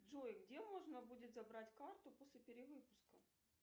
джой где можно будет забрать карту после перевыпуска